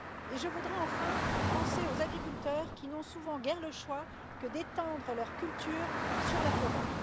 Je voudrais enfin penser aux agriculteurs qui n'ont souvent guère le choix que d'étendre leurs cultures sur la forêt.